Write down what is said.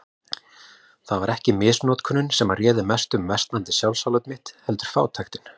Það var ekki misnotkunin sem réð mestu um versnandi sjálfsálit mitt, heldur fátæktin.